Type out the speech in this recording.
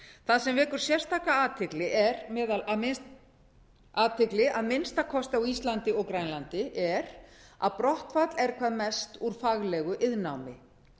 það sem vekur sérstaka athygli að minnsta kosti á íslandi og grænlandi er að brottfall er hvað mest úr faglegu iðnnámi